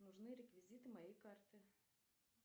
нужны реквизиты моей карты